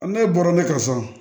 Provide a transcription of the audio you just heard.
Ne bɔra ne ka so